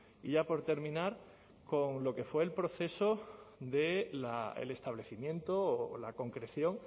y ya por terminar con lo que fue el proceso del establecimiento o la concreción